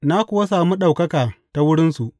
Na kuwa sami ɗaukaka ta wurinsu.